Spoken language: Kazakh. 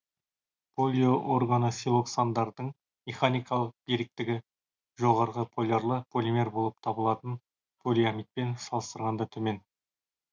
полиорганосилоксандардың механикалық беріктігі жоғары полярлы полимер болып табылатын полиамидпен салыстырғанда төмен